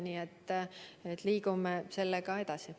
Nii et liigume sellega edasi.